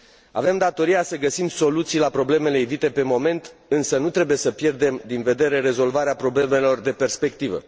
Avem datoria să găsim soluții la problemele ivite pe moment, însă nu trebuie să pierdem din vedere rezolvarea problemelor de perspectivă.